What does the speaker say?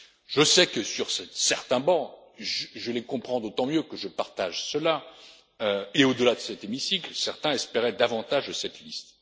tenu parole. Je sais que, sur certains bancs je les comprends d'autant mieux que je partage cela et au delà de cet hémicycle, certains espéraient davantage de